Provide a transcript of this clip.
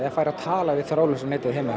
fær að tala við þráðlausa netið heima